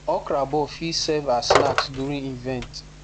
okra ball fit serve as snacks during event